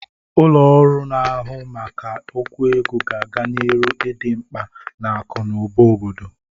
Ụlọ ọrụ na-ahụ maka okwu ego ga-aga n'iru idị mgba n'akụ na ụba obodo.